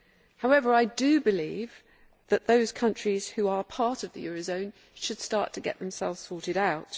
However, I do believe that those countries which are part of the eurozone should start to get themselves sorted out.